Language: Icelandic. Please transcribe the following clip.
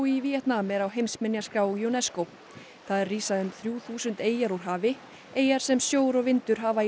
í Víetnam er á heimsminjaskrá UNESCO þar rísa um þrjú þúsund eyjar úr hafi eyjar sem sjór og vindur hafa í